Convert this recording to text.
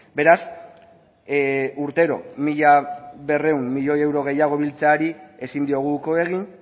beraz urtero mila berrehun milioi euro gehiago biltzeari ezin diogu uko egin